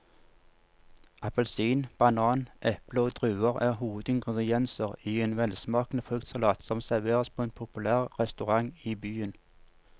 Appelsin, banan, eple og druer er hovedingredienser i en velsmakende fruktsalat som serveres på en populær restaurant i byen.